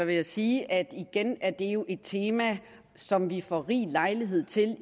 vil jeg sige at igen er det jo et tema som vi får rig lejlighed til at